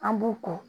An b'u kɔ